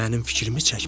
Mənim fikrimi çəkmə.